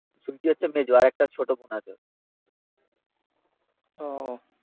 হচ্ছে মেজো, আর একটা ছোটো বোন আছে